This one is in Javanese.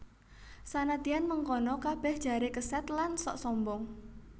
Sanadyan mengkono kabèh jaré kesèd lan sok sombong